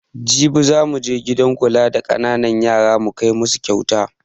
Jibi zamu je gidan kula da ƙananan yara mu kai masu kauta